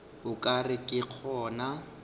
o ka re ke gona